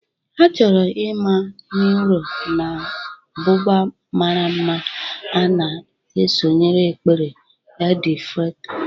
A chọrọ mma n'íro na buba mara mma, ana m esonyere ekpere Eid-el-Fitr.